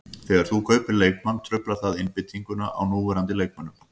Þegar þú kaupir leikmann truflar það einbeitinguna á núverandi leikmönnum.